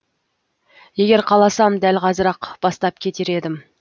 егер қаласам дәл қазір ақ бастап кетер едім